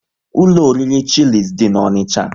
Ụlọ oriri Chilis dị n'Onicha